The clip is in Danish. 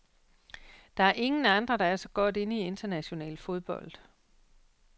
Der er ingen andre, der er så godt inde i international fodbold.